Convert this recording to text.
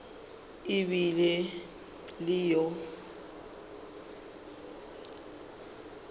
e be e le yo